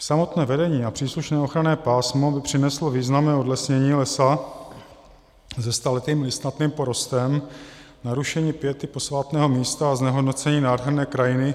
Samotné vedení a příslušné ochranné pásmo by přineslo významné odlesnění lesa se staletým listnatým porostem, narušení piety posvátného místa a znehodnocení nádherné krajiny